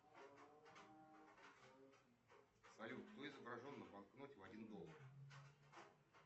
салют кто изображен на банкноте в один доллар